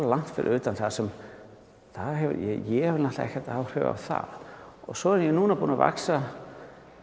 langt fyrir utan það sem ég hef náttúrulega ekkert áhrif á það og svo er ég núna búinn að vaxa